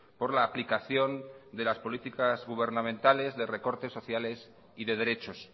por la aplicación de las políticas gubernamentales de recortes sociales y de derechos